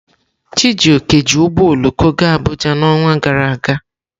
Chijioke ji ụgbọ oloko gaa Abuja n'ọnwa gara aga.